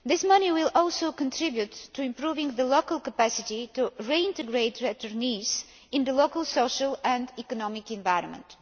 This money will also contribute to improving the local capacity to reintegrate returnees into the local social and economic environment.